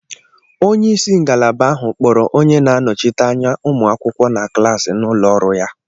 Onye isi ngalaba ahụ kpọrọ onye n'anochite anya umụ akwukwo na klasi n'ụlọ ọrụ ya.